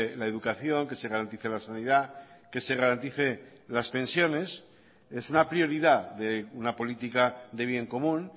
la educación que se garantice la sanidad que se garantice las pensiones es una prioridad de una política de bien común